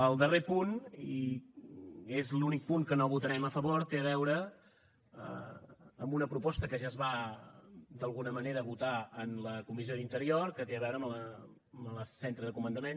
el darrer punt i és l’únic punt que no votarem a favor té a veure amb una proposta que ja es va d’alguna manera votar en la comissió d’interior que té a veure amb el centre de comandament